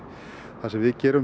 það sem við gerum